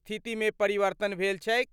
स्थितिमे परिवर्तन भेल छैक?